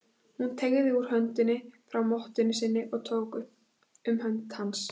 Hún teygði út höndina frá mottunni sinni og tók um hönd hans.